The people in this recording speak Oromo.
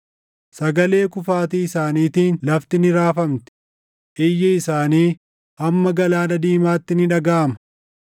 Sagalee kufaatii isaaniitiin lafti ni raafamti; iyyi isaanii hamma Galaana Diimaatti ni dhagaʼama.